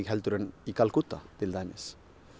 heldur en Kalkútta til dæmis